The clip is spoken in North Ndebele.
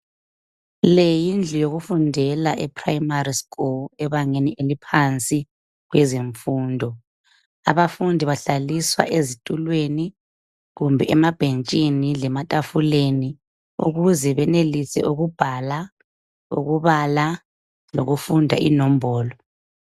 Leyindlu yokufundela eprimari sikhulu ebangeni eliphansi kwezemfundo. Abafundi bahlaliswa ezitulweni kumbe emabhentshini lematafuleni ukuze benelise ukubhala, ukubala lokufunda lenombolo.